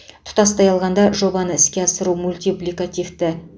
тұтастай алғанда жобаны іске асыру мультипликативті